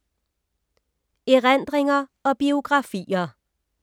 Erindringer og biografier